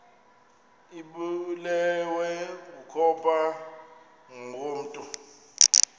ibulewe kukopha ngokomntu